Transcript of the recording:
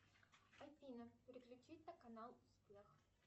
афина переключить на канал успех